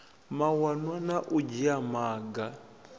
mawanwa na u dzhia maga